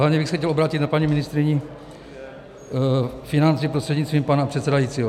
Hlavně bych se chtěl obrátit na paní ministryni financí prostřednictvím pana předsedajícího.